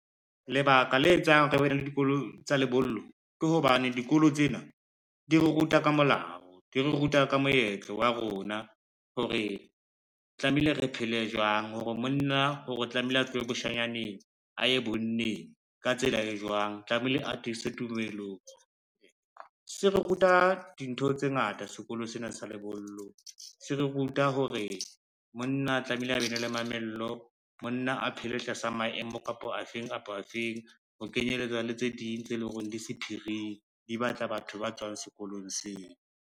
Lebaka le etsang re be na le dikolo tsa lebollo ke hobane dikolo tsena di ruta ka molao, di re ruta ka moetlo wa rona hore tlamehile re phele jwang, hore monna hore tlamehile a tlohe bashanyaneng a ye bonneng ka tsela e jwang, tlamehile atise tumelong. Se re ruta dintho tse ngata sekolo sena sa lebollo se re ruta hore monna tlamehile a be ne le mamello, monna a phele tlasa maemo kapo a feng kapo a feng, ho kenyelletsa le tse ding tse leng hore di sephiring, di batla batho ba tswang sekolong seo.